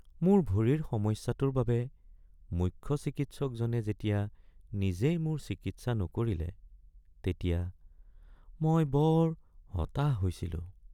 মোৰ ভৰিৰ সমস্যাটোৰ বাবে মুখ্য চিকিৎসকজনে যেতিয়া নিজেই মোৰ চিকিৎসা নকৰিলে তেতিয়া মই বৰ হতাশ হৈছিলোঁ।